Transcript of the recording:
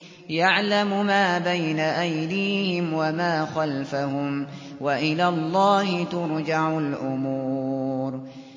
يَعْلَمُ مَا بَيْنَ أَيْدِيهِمْ وَمَا خَلْفَهُمْ ۗ وَإِلَى اللَّهِ تُرْجَعُ الْأُمُورُ